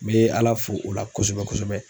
N bɛ Ala fo o la kosɛbɛ kosɛbɛ